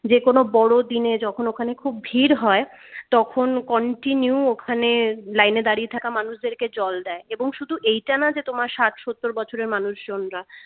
যেকোনো বড় দিনে যখন ওখানে খুব ভিড় হয় তখন continue ওখানে line এ দাঁড়িয়ে থাকা মানুষদেরকে জল দেয় এবং শুধু এইটা না যে তোমার শুধু ষাট সত্তর বছরের মানুষজনরা